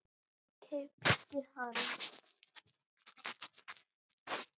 Keypt hana?